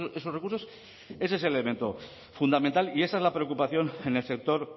esos recursos ese es el elemento fundamental y esa es la preocupación en el sector